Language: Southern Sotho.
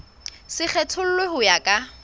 se kgethollwe ho ya ka